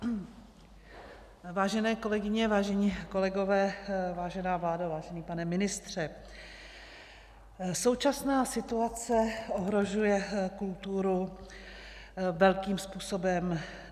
Vážené kolegyně, vážení kolegové, vážená vládo, vážený pane ministře, současná situace ohrožuje kulturu velkým způsobem.